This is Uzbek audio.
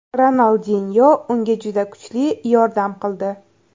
Ronaldinyo unga juda kuchli yordam qildi.